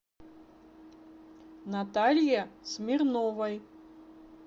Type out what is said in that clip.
наталье смирновой